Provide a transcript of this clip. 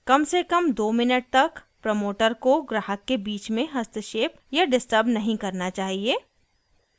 कम से कम 2 मिनट तक प्रमोटर को ग्राहक के बीच में हस्तक्षेप या डिस्टर्ब नहीं करना चाहिए